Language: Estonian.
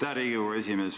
Aitäh, Riigikogu esimees!